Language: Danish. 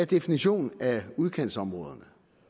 definition af udkantsområder